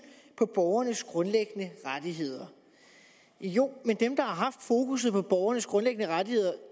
på borgernes grundlæggende rettigheder jo men dem der har haft fokus på borgernes grundlæggende rettigheder